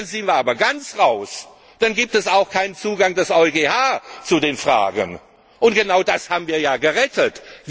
Dann sind wir aber ganz raus, dann gibt es auch keinen Zugang des EuGH zu den Fragen, und genau das haben wir ja gerettet!